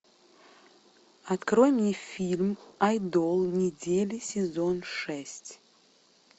открой мне фильм айдол недели сезон шесть